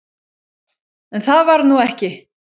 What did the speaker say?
En það varð nú ekki.